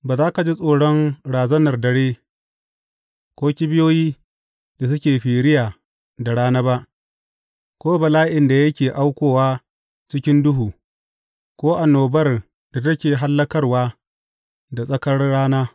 Ba za ka ji tsoron razanar dare, ko kibiyoyi da suke firiya da rana ba, ko bala’in da yake aukowa cikin duhu, ko annobar da take hallakarwa da tsakar rana.